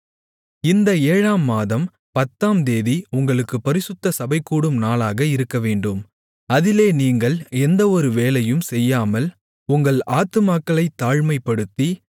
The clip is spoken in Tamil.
இந்த ஏழாம் மாதம் பத்தாம் தேதி உங்களுக்குப் பரிசுத்த சபைகூடும் நாளாக இருக்கவேண்டும் அதிலே நீங்கள் எந்தஒரு வேலையும் செய்யாமல் உங்கள் ஆத்துமாக்களைத் தாழ்மைப்படுத்தி